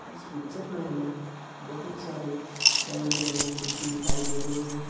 इस पिक्चर में हमें बहुत सारे रंग बिरंगी कुर्सी दिखाई दे रही हैं।